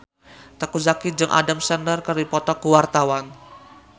Teuku Zacky jeung Adam Sandler keur dipoto ku wartawan